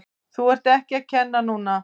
Þú ert ekki að kenna núna!